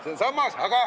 See on sammas.